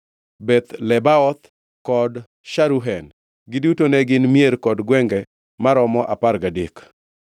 Beth Lebaoth kod Sharuhen. Giduto ne gin mier kod gwenge maromo apar gadek.